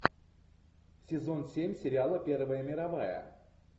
сезон семь сериала первая мировая